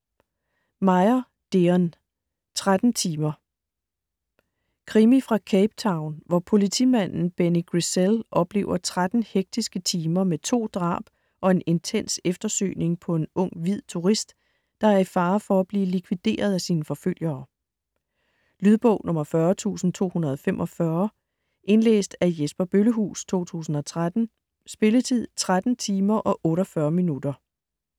Meyer, Deon: Tretten timer Krimi fra Cape Town, hvor politimanden Benny Griessel oplever 13 hektiske timer med to drab og en intens eftersøgning på en ung hvid turist, der er i fare for at blive likvideret af sine forfølgere. Lydbog 40245 Indlæst af Jesper Bøllehuus, 2013. Spilletid: 13 timer, 48 minutter.